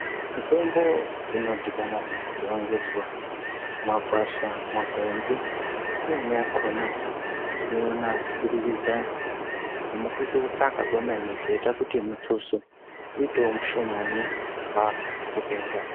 Mitombo inodhibana zuva ngezuva, makwasha, makwenzi, imweni yakhona tinoiona kubudikidza mukutoitsvaka kwemene zvinoita kuti mutuso uitewo mushomani kubva mukutenga.